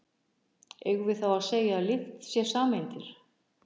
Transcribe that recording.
Eigum við þá að segja að lykt sé sameindir?